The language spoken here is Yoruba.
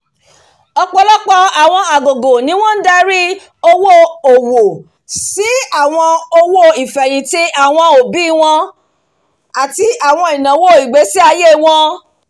ọ̀pọ̀lọpọ̀ àwọn àgògò ni wọ́n ń darí owó-òwò sí àwọn owó ìfẹ́hìntì àwọn òbí wọn àti àwọn ináwó ìgbésí-ayé wọn